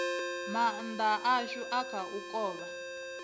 maanda ashu a kha u kovha